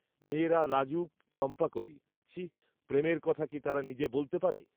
মেয়েরা লাজুক চম্পাকলি, ছিঃ, প্রেমের কথা কি তারা নিজে বলতে পারে